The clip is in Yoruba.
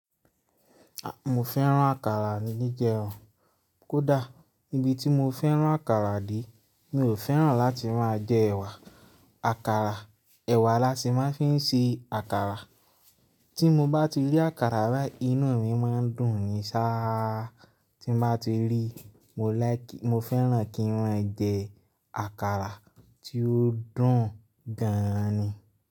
A! Mo fẹ́ rán àkàrà níjijẹ o. Kódà níbi tí mo fẹ́rán àkàrà dé, mi ò fẹ́ràn láti máa jẹ ẹ̀wà àkàrà. Ẹ̀wà la sì máa ń fi ń ṣe àkàrà. Tí mo bá ti rí àkàrà bai, inú mi máa ń dùn sí ṣáá. Tí mo bá ti rí, mo like, mo fẹ́ràn kí wọ́n jẹ àkàrà tí ó dùn gan ni.